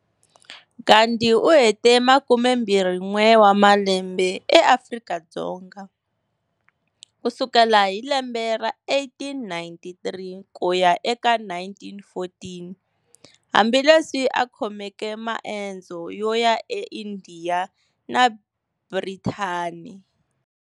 Gandhi uhete makumembirhin'we wamalambe eAfrika-Dzonga, kusukela hi lembe ra 1893 kuya eka 1914, hambileswi a khomeke maendzo yoya e Indiya na Bhrithani.